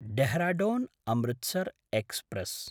Dehradun Amritsar express